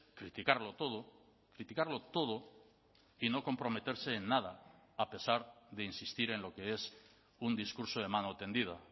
criticarlo todo criticarlo todo y no comprometerse en nada a pesar de insistir en lo que es un discurso de mano tendida